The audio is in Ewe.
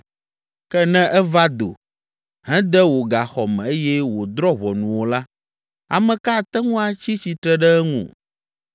Ke ne eva do, hede wò gaxɔ me eye wòdrɔ̃ ʋɔnu wò la, ame ka ate ŋu atsi tsitre ɖe eŋu?